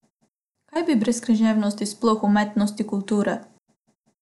Kaj bi brez književnosti, sploh umetnosti, kulture?